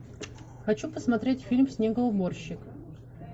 хочу посмотреть фильм снегоуборщик